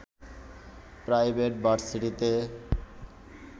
private ভার্সিটিতে